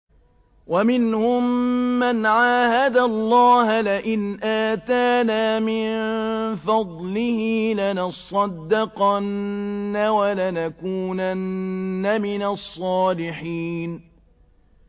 ۞ وَمِنْهُم مَّنْ عَاهَدَ اللَّهَ لَئِنْ آتَانَا مِن فَضْلِهِ لَنَصَّدَّقَنَّ وَلَنَكُونَنَّ مِنَ الصَّالِحِينَ